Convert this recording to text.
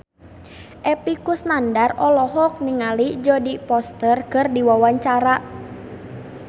Epy Kusnandar olohok ningali Jodie Foster keur diwawancara